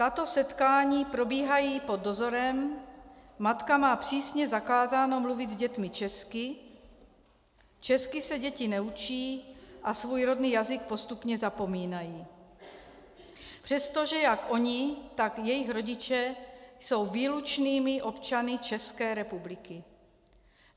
Tato setkání probíhají pod dozorem, matka má přísně zakázáno mluvit s dětmi česky, česky se děti neučí a svůj rodný jazyk postupně zapomínají, přestože jak ony, tak jejich rodiče jsou výlučnými občany České republiky.